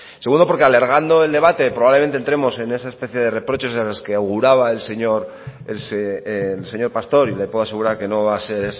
segundo porque alargando el debate probablemente enteremos en ese especie de reproches de las que auguraba el señor pastor y le puedo asegurar que no va a ser